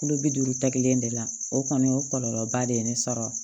Kulo bi duuru ta kelen de la o kɔni o kɔlɔlɔba de ye ne sɔrɔ